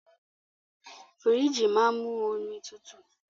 Fìríjìì máa ń mú omi tutù.